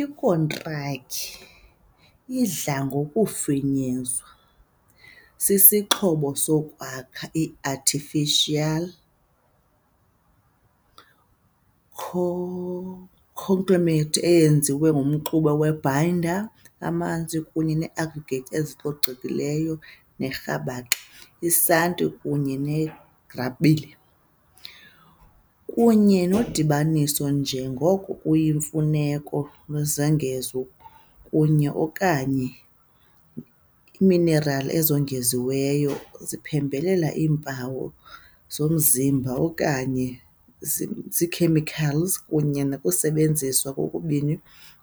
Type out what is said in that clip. Ikhontraki, idla ngokufinyezwa, sisixhobo sokwakha, i-artificial conglomerate eyenziwe ngumxube we-binder, amanzi kunye ne -aggregates ezicolekileyo nerhabaxa, isanti kunye negrabile, kunye nodibaniso, njengoko kuyimfuneko, lwezongezo kunye - okanye iiminerali ezongeziweyo ziphembelela iimpawu zomzimba okanye zi-chemicals, kunye nokusebenza, kokubini